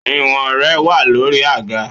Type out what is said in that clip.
Ìwọ̀n rẹ wà lórí àga